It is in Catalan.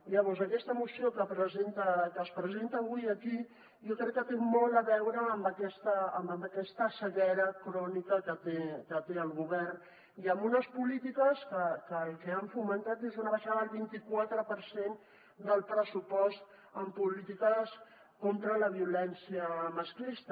llavors aquesta moció que es presenta avui aquí jo crec que té molt a veure amb aquesta ceguera crònica que té el govern i amb unes polítiques que el que han fomentat és una baixada al vint quatre per cent del pressupost en polítiques contra la violència masclista